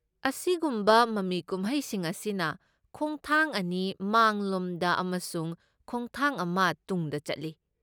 ꯑꯁꯤꯒꯨꯝꯕ ꯃꯃꯤ ꯀꯨꯝꯍꯩꯁꯤꯡ ꯑꯁꯤꯅ ꯈꯣꯡꯊꯥꯡ ꯑꯅꯤ ꯃꯥꯡꯂꯣꯝꯗ ꯑꯃꯁꯨꯡ ꯈꯣꯡꯊꯥꯡ ꯑꯃ ꯇꯨꯡꯗ ꯆꯠꯂꯤ꯫